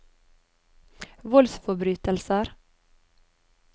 voldsforbrytelser